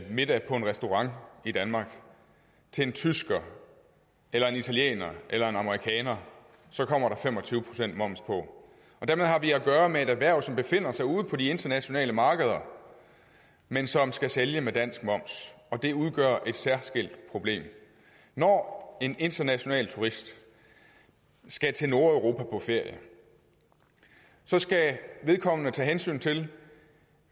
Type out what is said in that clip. middag på en restaurant i danmark til en tysker eller en italiener eller en amerikaner så kommer der fem og tyve procent moms på dermed har vi at gøre med et erhverv som befinder sig ude på de internationale markeder men som skal sælge med dansk moms og det udgør et særskilt problem når en international turist skal til nordeuropa på ferie skal vedkommende tage hensyn til